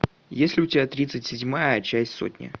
есть ли у тебя тридцать седьмая часть сотни